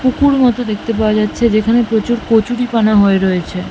পুকুর মতো দেখতে পাওয়া যাচ্ছে যেখানে প্রচুর কচুরিপানা হয়ে রয়েছে।